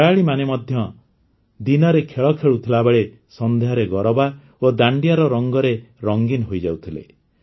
ଖେଳାଳିମାନେ ମଧ୍ୟ ଦିନରେ ଖେଳ ଖେଳୁଥିବାବେଳେ ସନ୍ଧ୍ୟାରେ ଗରବା ଓ ଦାଣ୍ଡିଆର ରଙ୍ଗରେ ରଙ୍ଗୀନ ହୋଇଯାଉଥିଲେ